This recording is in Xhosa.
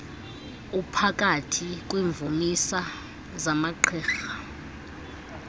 uphakathi kwiimvumisa zamagqirha